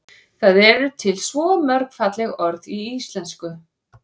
það eru til svo mörg falleg orð í íslenksu